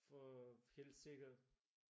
For helt sikkert